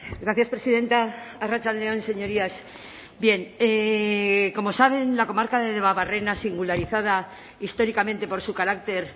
gracias presidenta arratsalde on señorías bien como saben la comarca de debabarrena singularizada históricamente por su carácter